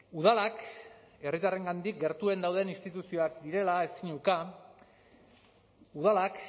udalak herritarrengandik gertuen dauden instituzioak direla ezin uka udalak